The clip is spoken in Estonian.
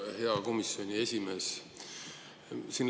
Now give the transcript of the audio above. Hea komisjoni esimees!